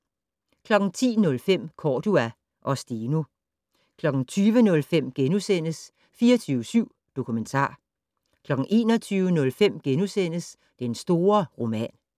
10:05: Cordua og Steno 20:05: 24syv Dokumentar * 21:05: Den store roman *